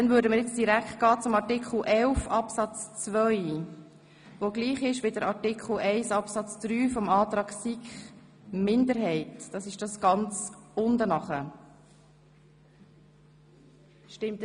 Somit gehen wir direkt zu Artikel 11 Absatz 2, der Artikel 11 Absatz 3 der SiK-Minderheit entspricht.